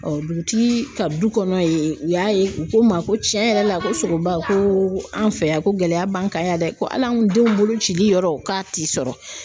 dugutigi ka du kɔnɔ ye u y'a ye u ko n ma ko tiɲɛ yɛrɛ la ko SOGOBA ko an fɛ yan ko gɛlɛya b'an kan yan dɛ hali an denw bolocili yɔrɔ k'a ti sɔrɔ.